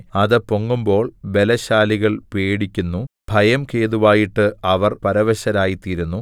അത് പൊങ്ങുമ്പോൾ ബലശാലികൾ പേടിക്കുന്നു ഭയം ഹേതുവായിട്ട് അവർ പരവശരായിത്തീരുന്നു